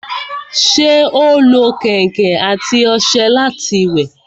ṣé ó lo kẹ̀ǹkẹ̀ àti ọṣẹ láti wẹ̀?